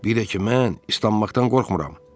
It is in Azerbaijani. Bir də ki mən islanmaqdan qorxmuram.